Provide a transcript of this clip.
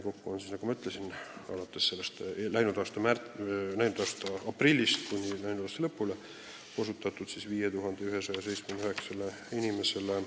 Kokku osutati alates läinud aasta aprillist kuni aasta lõpuni õigusabi 5179 inimesele.